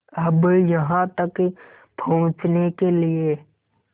अब यहाँ तक पहुँचने के लिए